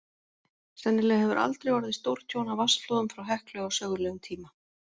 Sennilega hefur aldrei orðið stórtjón af vatnsflóðum frá Heklu á sögulegum tíma.